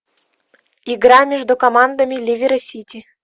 игра между командами ливер и сити